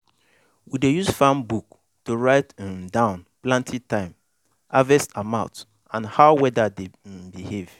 we dey use farm book to write um down planting time harvest amount and how weather dey um behave.